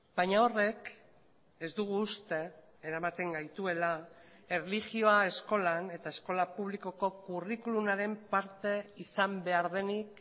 baina horrek ez dugu uste eramaten gaituela erlijioa eskolan eta eskola publikoko curriculumaren parte izan behar denik